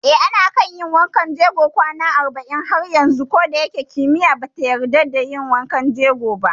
Eh, ana kan yin wankan jegon kwana arba'in har yanzu koda shike kimiyya bata yarda da yin hakan ba